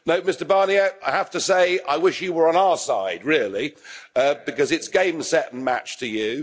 No, Mr Barnier, I have to say I wish you were on our side really, because it's game, set and match to you.